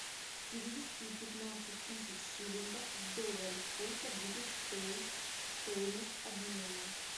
перевести пятнадцать тысяч шиллингов в доллары сколько будет стоить стоимость обмена